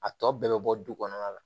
A tɔ bɛɛ bɛ bɔ du kɔnɔna la